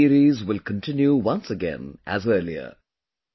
Now this series will continue once again as earlier